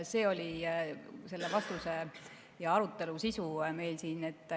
See oli selle vastuse ja arutelu sisu meil siin.